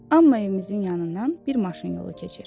Amma evimizin yanından bir maşın yolu keçir.